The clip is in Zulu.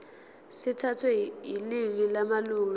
sithathwe yiningi lamalunga